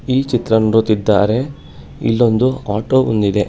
ಈ ಚಿತ್ರವನ್ನು ನೋಡುತ್ತಿದ್ದಾರೆ ಇಲ್ಲೊಂದು ಆಟೋ ಬಂದಿದೆ.